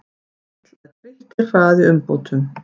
Vill að Grikkir hraði umbótum